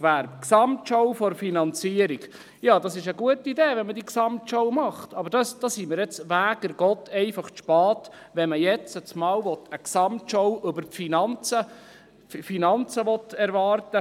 Zur Gesamtschau der Finanzierung: Diese Gesamtschau ist eine gute Idee, aber dafür sind wir nun halt einfach zu spät, zu spät, um vom Regierungsrat jetzt auf einmal eine Gesamtschau über die Finanzen zu erwarten.